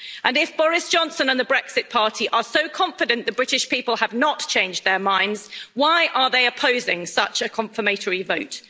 If Boris Johnson and the Brexit Party are so confident the British people have not changed their minds, why are they opposing such a confirmatory vote?